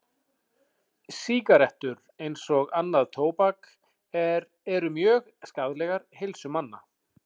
Sígarettur, eins og annað tóbak, eru mjög skaðlegar heilsu manna.